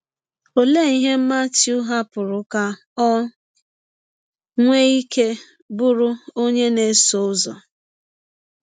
Ọlee ihe Matiụ hapụrụ ka ọ nwee ike bụrụ ọnye na - esọ ụzọ?